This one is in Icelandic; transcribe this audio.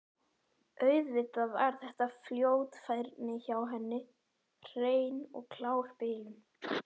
Auðvitað var þetta fljótfærni hjá henni, hrein og klár bilun.